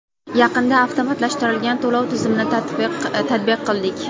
Yaqinda avtomatlashtirilgan to‘lov tizimini tatbiq qildik.